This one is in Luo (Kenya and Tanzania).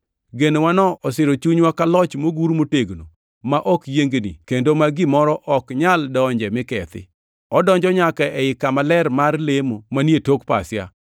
Genowano osiro chunywa ka loch mogur motegno ma ok yiengni kendo ma gimoro ok nyal donje mi kethi. Odonjo nyaka ei kama ler mar lemo manie tok pasia,